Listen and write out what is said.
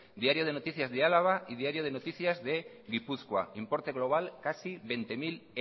diario de noticias de álava y diario de noticias de gipuzkoa importe global casi veinte mil